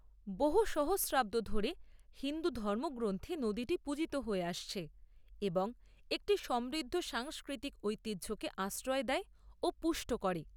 বহু সহস্রাব্দ ধরে হিন্দু ধর্মগ্রন্থে নদীটি পূজিত হয়ে আসছে এবং একটি সমৃদ্ধ সাংস্কৃতিক ঐতিহ্যকে আশ্রয় দেয় ও পুষ্ট করে।